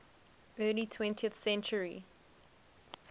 early twentieth century